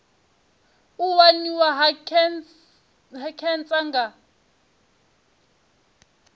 u waniwa ha khentsa nga